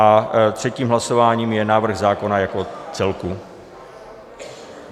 A třetím hlasováním je návrh zákona jako celku.